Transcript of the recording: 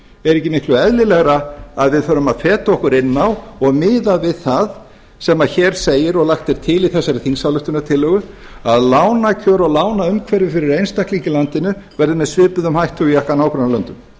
er ekki miklu eðlilegra að við förum að feta okkur inn á og miða við það sem hér segir og lagt er til í þessari þingsályktunartillögu að lánakjör og lánaumhverfi fyrir einstaklinga í landinu verði með svipuðum hætti og í okkar nágrannalöndum